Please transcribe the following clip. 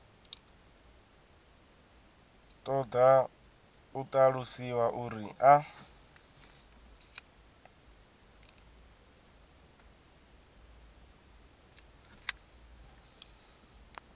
ṱoḓa u ṱalusiwa uri a